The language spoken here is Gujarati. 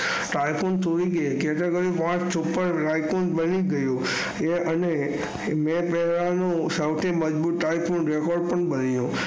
ટાઇફોને તરીકે કે ધાર છપ્પન તરીકે અને તે પેહલા નું સૌથી મજબૂતાઈ નો રેકોર્ડ પણ બની ગયો.